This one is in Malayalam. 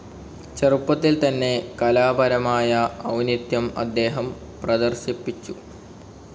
ചെറുപ്പത്തിൽ തന്നെ കലാപരമായ ഔന്നത്യം അദ്ദേഹം പ്രദർശിപ്പിച്ചു.